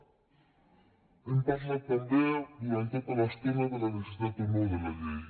hem parlat també durant tota l’estona de la necessitat o no de la llei